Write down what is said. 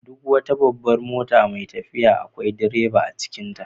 Duk wata babban mota mai tafiya akwai direba a cikinta.